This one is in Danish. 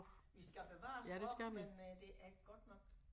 Vi skal bevare æ sproch men det godt nok